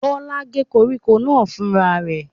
Bọ́lá gé koríko náà fúnra rẹ̀?